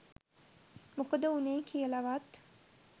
මොකද වුනේ කියලවත්